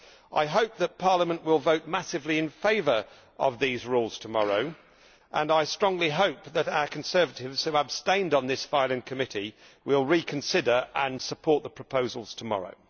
I hope that Parliament will vote massively in favour of these rules tomorrow, and I strongly hope that our Conservatives, who abstained on this file in committee, will reconsider and support the proposals tomorrow.